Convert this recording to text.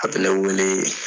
A bɛ lawilii